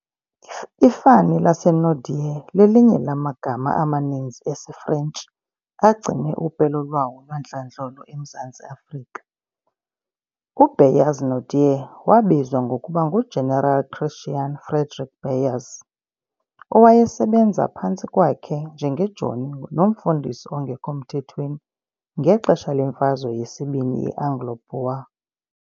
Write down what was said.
Ifani laseNaudé lelinye lamagama amaninzi esiFrentshi agcine upelo lwawo lwantlandlolo eMzantsi Afrika. U-Beyers Naudé wabizwa ngokuba ngu-General Christiaan Frederick Beyers, owayesebenza phantsi kwakhe njengejoni nomfundisi ongekho mthethweni ngexesha lemfazwe yesibini ye-Anglo-Boer.